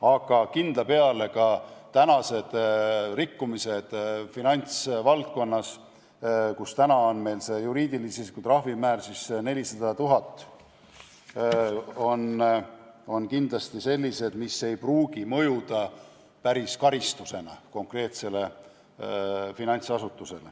Aga kindlapeale ei pruugi praegu finantsvaldkonnas, kus meil on juriidilise isiku trahvimäär 400 000, need trahvid konkreetsele finantsasutusele mõjuda päris karistusena.